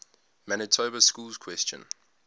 manitoba schools question